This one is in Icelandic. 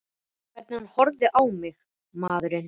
Hvernig hann horfði á mig, maðurinn!